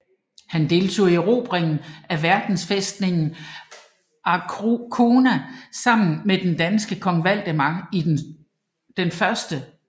Han deltog i erobringen af venderfæstningen Arkona sammen med den danske kong Valdemar I den Store